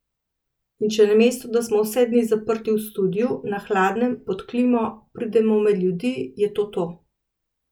In če namesto, da smo vse dni zaprti v studiu, na hladnem, pod klimo, pridemo med ljudi, je to to.